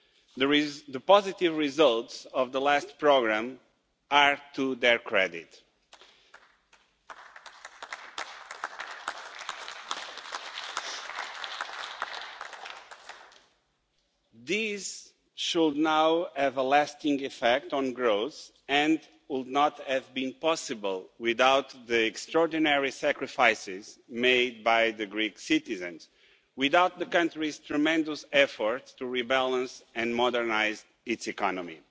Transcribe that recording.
The positive results of the last programme are to their credit. These should now have a lasting effect on growth and would not have been possible without the extraordinary sacrifices made by the Greek citizens, without the country's tremendous efforts to rebalance and modernise its economy.